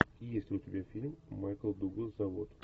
есть ли у тебя фильм майкл дуглас завод